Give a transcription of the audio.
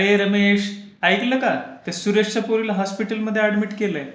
अरे रमेश, ऐकलं का? त्या सुरेशच्या पोरीला हॉस्पिटलमध्ये अॅडमिट केलंय.